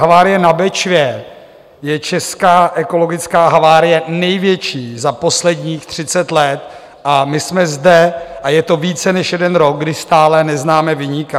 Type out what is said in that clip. Havárie na Bečvě je česká ekologická havárie největší za posledních 30 let a my jsme zde, a je to více než jeden rok, kdy stále neznáme viníka.